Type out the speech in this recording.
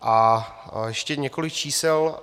A ještě několik čísel.